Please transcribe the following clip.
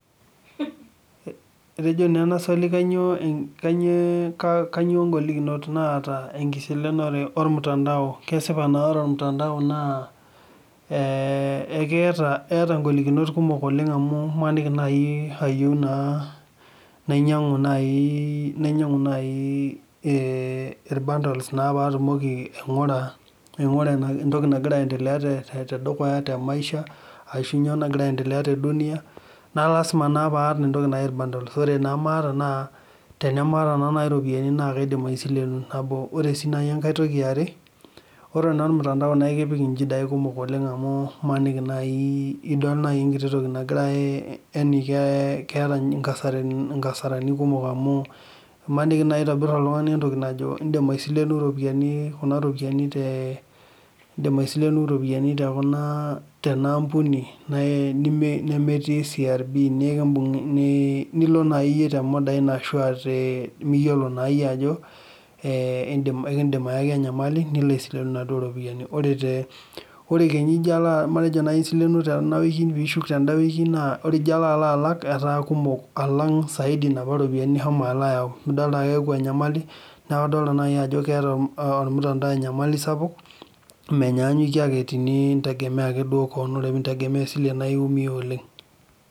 Etejo ena swali kanyio ngolikinot naata enkisilenore ormutandao , kesipaa naa ore ormutandao keeta ingolikinot kumok oleng amu imaniki naai ayieu naa nainyiangu naajii ilbundles naa paatumoki aingura entoki nagira aiendelea te maisha aashu nyoo nagira aendelea te dunia naa lasima paata naa entoki naaji bundles tenamaata naa iropiyiani na kaidim aisilenu ,nabo oree sii naaji enkai tooki eare ore olmutandao naa ekipik inchidai kummok oleng amu imaniki naaji idol naaji enkiti toki nagira yaaani keeta inkasarani kumok amu imaniki naaji eitobira oltungani entoki naajo indim aisilenu ropiyani kuna ropiyiani teena ampuni nemetii CRB nikimbungi nilo naaji iyie temodai nimiyiolo naa iyie ajo ekiindim ayaki enyamali nilo aisilenu ropiyani ore kenyaa ijo matejo isilenuo tena wiki piilak tenda wiki oree ijo alo alak etaa kumook saaidi inapa ropiyani nishomo alo ayau midolita ajo keyaku enyamali neeku kadolita naaji ajo keeta olmutandau enyamali sapuk menyanyuke ake tenintegemea duo ake kewon ore tenintegemea esile naa iiumia oleng.